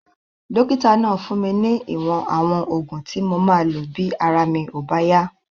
Dókítà náà fún mi ní ìwọ̀n àwọn oògùn tí mo máa lò bí ara mi ò bá yá